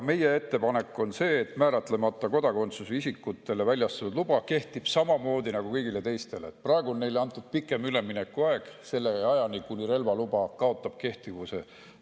Meie ettepanek on, et määratlemata kodakondsusega isikutele väljastatud load kehtiks samamoodi nagu kõigil teistel, praegu on neile antud pikem üleminekuaeg, selle ajani, kuni relvaluba kaotab kehtivuse.